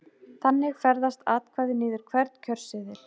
Þannig ferðast atkvæðið niður hvern kjörseðil.